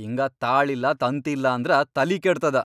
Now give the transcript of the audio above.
ಹಿಂಗ ತಾಳಿಲ್ಲಾ ತಂತಿಲ್ಲಾ ಅಂದ್ರ ತಲಿ ಕೆಡ್ತದ.